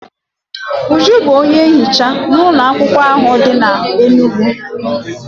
Uju bụ onye nhicha n'ụlọakwụkwọ ahụ dị n'Enugwu.